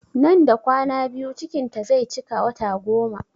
Nan da kwana biyu cikin ta zai cika wata goma